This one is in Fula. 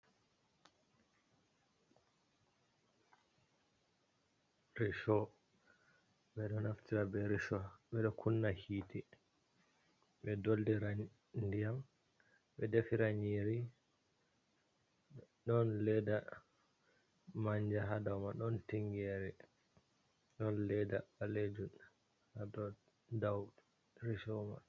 Resho bedo, naftira be majum kunna hite be dollirai diyam be defira nyiri, don ledda manja hada mai don tingere don ledda balejun ha dau reshoma.